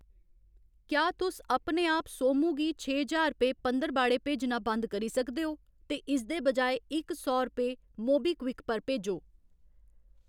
क्या तुस अपने आप सोमू गी छे ज्हार रपेऽ पंदरबाड़े भेजना बंद करी सकदे ओ ? ते इसदे बजाए इक सौ रपेऽ मोबीक्विक पर भेजो।